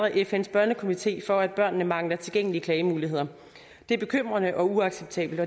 fns børnekomité for at børnene mangler tilgængelige klagemuligheder det er bekymrende og uacceptabelt